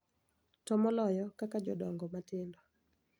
To moloyo kaka jodongo matindo,